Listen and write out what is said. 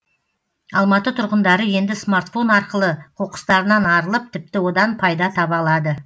алматы тұрғындары енді смартфон арқылы қоқыстарынан арылып тіпті одан пайда таба алады